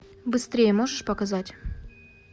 быстрее можешь показать